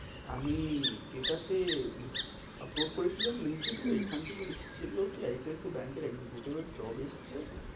আমি এটাতে approve করেছিলাম হম ওইখান থেকেই এসেছিলো কি I C I C I ব্যাঙ্কের executive এর job এসেছে।